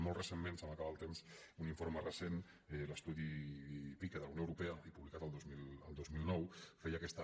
molt recentment se m’acaba el temps un informe recent l’estudi pica de la unió europea publicat el dos mil nou feia aquesta